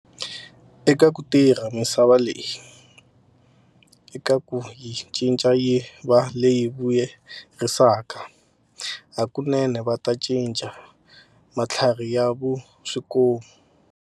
Eka ku tirha misava leyi, eka ku yi cinca yi va leyi vuyerisaka hakunene va ta cinca matlhari ya va swikomu.